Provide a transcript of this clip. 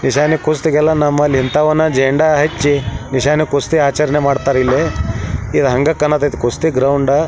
ನಿಶಾನೆ ಕುಸ್ತಿಗೆಲ್ಲ ನಮ್ಮಲ್ ಇಂತವನ ಜೇಂಡ ಹಚ್ಚಿ ನಿಶಾನೆ ಕುಸ್ತಿ ಆಚರಣೆ ಮಾಡ್ತಾರಿಲ್ಲಿ ಈದ್ ಹಂಗ ಕಣತೈತ್ ಕುಸ್ತಿ ಗ್ರೌಂಡ --